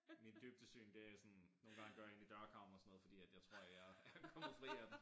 Mit dybdesyn det sådan nogen gange går jeg ind i dørkarmen og sådan noget fordi at jeg tror jeg er kommet fri af den